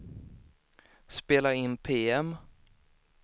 spela in PM